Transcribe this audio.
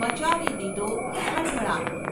મચાવી દીધો ખળભળાટ.